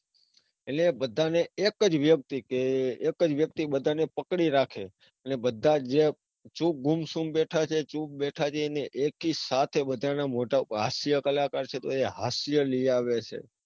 એટલે બધાને એક જ વ્યક્તિ કે એક જ વ્યક્તિ બધાને પકડી રાખે એટલે જે બધા ગુમસુમ બેઠા છે. ચૂપ બેઠા છે. એને એકીસાથે બધાના મોઢા પર હાસ્યકલાકાર છે તો એ હાસ્ય લઇ આવે છે.